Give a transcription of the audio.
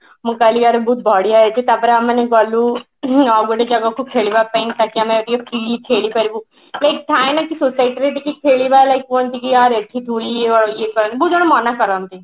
ମୁଁ କହିଲି ୟାର ବହୁତ ବଢିଆ ହେଇଛି ତା ପରେ ଆମେମାନେ ଗଲୁ ହୁଁ ଆଉ ଗୋଟେ ଜାଗାକୁ ଖେଳିବା ପାଇଁ ତାକି ଆମେ ଟିକେ free ଖେଳି ପାରିବୁ like ଥାଏନା କି society ରେ ଟିକେ ଖେଳିବା like କୁହନ୍ତି କି ୟାର ଏଠି ଧୁଳି ଇଏ କରନି ବହୁତ ଜଣ ମନା କରନ୍ତି